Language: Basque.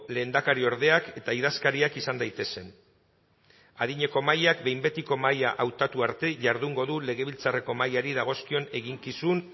lehendakariordeak eta idazkariak izan daitezen adineko mahaiak behin betiko mahaia hautatu arte jardungo du legebiltzarreko mahaiari dagozkion eginkizun